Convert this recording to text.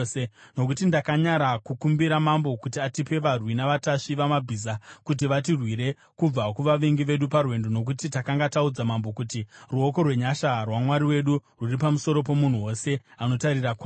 Nokuti ndakanyara kukumbira mambo kuti atipe varwi navatasvi vamabhiza kuti vatirwire kubva kuvavengi vedu parwendo nokuti takanga taudza mambo kuti, “Ruoko rwenyasha rwaMwari wedu rwuri pamusoro pomunhu wose anotarira kwaari.”